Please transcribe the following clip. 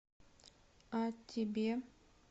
а тебе